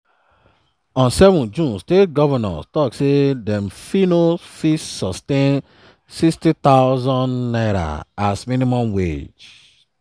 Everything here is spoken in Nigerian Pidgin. on 7 june state govnors tok say dem fit no fit sustain n60000 as minimum wage.